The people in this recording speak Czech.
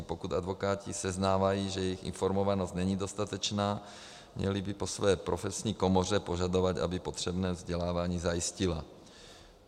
A pokud advokáti seznávají, že jejich informovanost není dostatečná, měli by po své profesní komoře požadovat, aby potřebné vzdělávání zajistila.